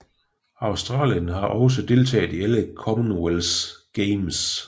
Australien har også deltaget i alle Commonwealth Games